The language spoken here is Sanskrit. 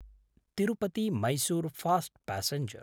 तिरुपति–मैसूर फास्ट् प्यसेंजर्